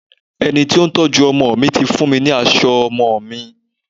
Ẹni tí ó ń tọ́jú ọmọ mi ti fún mi ní aṣọ ọmọ mi.